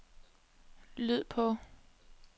lyd på